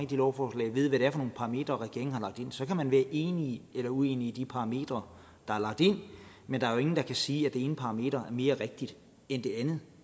de lovforslag ved hvad det er for nogle parametre regeringen har lagt ind så kan man være enig eller uenig i de parametre der er lagt ind men der er jo ingen der kan sige at det ene parameter er mere rigtigt end det andet